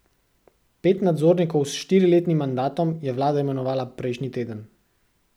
Pet nadzornikov s štiriletnim mandatom je vlada imenovala prejšnji teden.